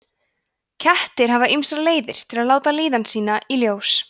kettir hafa ýmsar leiðir til að láta líðan sína í ljós